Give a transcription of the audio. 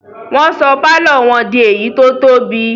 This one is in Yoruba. Wọ́n sọ pálọ̀ wọn di èyí tó tóbi